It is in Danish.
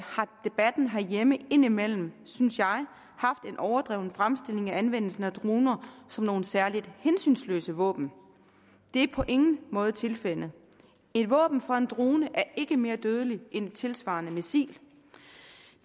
har debatten herhjemme indimellem synes jeg haft en overdreven fremstilling af anvendelsen af droner som nogle særlig hensynsløse våben det er på ingen måde tilfældet et våben fra en drone er ikke mere dødeligt end et tilsvarende missil